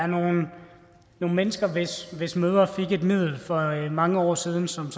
nogle mennesker hvis hvis mødre fik et middel for mange år siden som